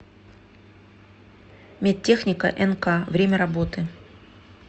медтехника нк время работы